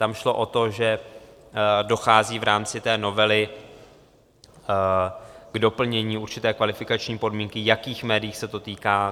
Tam šlo o to, že dochází v rámci té novely k doplnění určité kvalifikační podmínky, jakých médií se to týká.